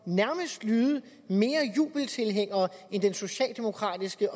nærmest at lyde mere jubeltilhængeragtig end den socialdemokratiske